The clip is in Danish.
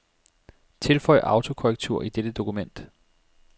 Tilføj autokorrektur i dette dokument.